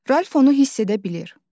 Ralf onu hiss edə bilir.